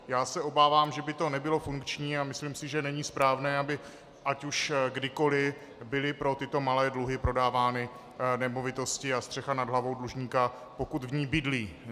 Já se obávám, že by to nebylo funkční, a myslím si, že není správné, aby ať už kdykoli byly pro tyto malé dluhy prodávány nemovitosti a střecha nad hlavou dlužníka, pokud v ní bydlí.